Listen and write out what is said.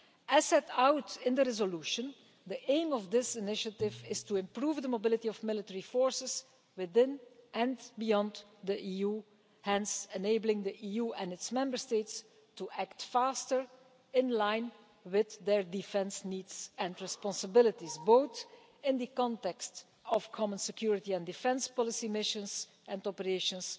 As set out in the resolution, the aim of this initiative is to improve the mobility of military forces within and beyond the EU, hence enabling the EU and its Member States to act faster, in line with their defence needs and responsibilities, both in the context of common security and defence policy missions and operations,